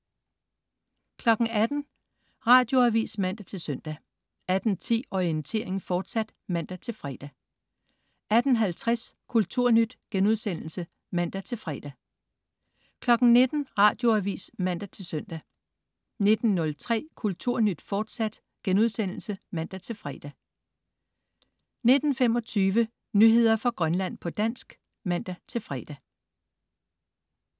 18.00 Radioavis (man-søn) 18.10 Orientering, fortsat (man-fre) 18.50 Kulturnyt* (man-fre) 19.00 Radioavis (man-søn) 19.03 Kulturnyt, fortsat* (man-fre) 19.25 Nyheder fra Grønland, på dansk (man-fre)